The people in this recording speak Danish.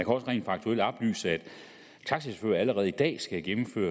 også rent faktuelt oplyse at taxachauffører allerede i dag skal gennemføre